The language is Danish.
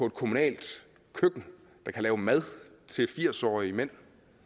et kommunalt køkken der kan lave mad til firs årige mænd